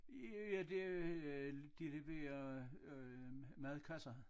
Ja det øh de leverer madkasser